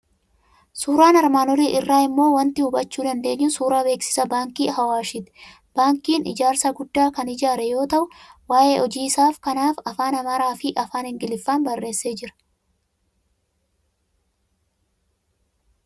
Suuraan armaan olii irraa immoo waanti hubachuu dandeenyu suuraa beeksisa Baankii Awaashii ti. Baankiin ijaarsa guddaa kan ijaaree jiru yoo ta'u, waa'ee hojii isaa kanaaf afaan Amaaraa fi Afaan Ingiliffaan barreessee jira.